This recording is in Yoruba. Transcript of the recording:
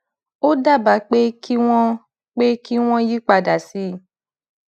ó dábàá pé kí wọn pé kí wọn yí padà sí